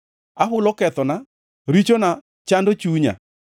Ahulo kethona; richona chando chunya.